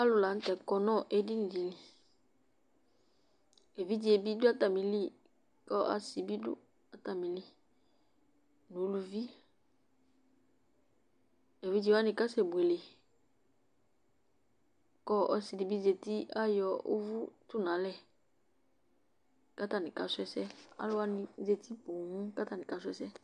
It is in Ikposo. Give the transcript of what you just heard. Alunɩlanutɛ aƙɔnu eɗɩnɩɗɩ eʋɩɗjeɓɩɗu atamɩlɩ ƙu asɩɓɩɗu atamɩlɩ uluʋɩɓɩ eʋɩɗjewanɩ aƙasɛ ɓuele ƙu ɔsɩɗɩɓɩ zatɩ aƴɔ uʋu ƴoƴaɗunalɛ ƙatanɩ aƙasu ɛsɛ aluwnɩ azatɩ poo ƙu atanɩ aƙasu ɛsɛ